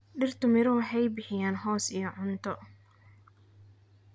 Dhirtu miro waxay bixiyaan hoos iyo cunto.